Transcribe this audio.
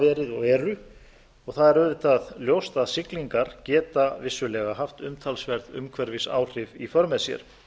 verið og eru og það er auðvitað ljóst að siglingar geta vissulega haft umtalsverð umhverfisáhrif í för með sér